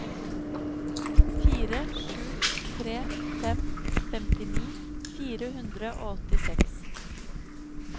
fire sju tre fem femtini fire hundre og åttiseks